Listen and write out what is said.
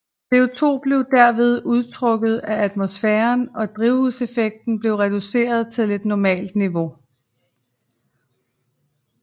CO2 blev derved udtrukket af atmosfæren og drivhuseffekten blev reduceret til et normalt niveau